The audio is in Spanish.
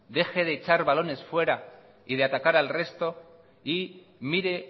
deje de echar balones fuera y de atacar al resto y mire